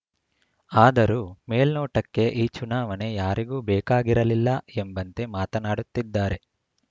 ಆದರೂ ಮೇಲ್ನೋಟಕ್ಕೆ ಈ ಚುನಾವಣೆ ಯಾರಿಗೂ ಬೇಕಾಗಿರಲಿಲ್ಲ ಎಂಬಂತೆ ಮಾತನಾಡುತ್ತಿದ್ದಾರೆ